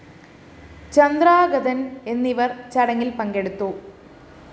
ചന്ദ്രാംഗതന്‍ എന്നിവര്‍ ചടങ്ങില്‍ പങ്കെടുത്തു